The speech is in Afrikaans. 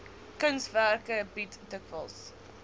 kunswerke bied dikwels